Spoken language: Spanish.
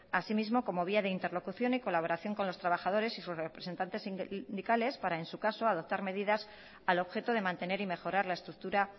así mismo como vía de interlocución y colaboración con los trabajadores y sus representantes sindicales para en su caso adoptar medidas al objeto de mantener y mejorar la estructura